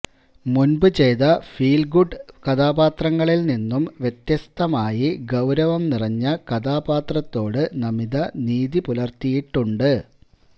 മുൻപ് ചെയ്ത feel good കഥാപാത്രങ്ങളിൽ നിന്നും വ്യത്യസ്തമായി ഗൌരവം നിറഞ്ഞ കഥാപാത്രത്തോട് നമിത നീതിപുലർത്തിയിട്ടുണ്ട്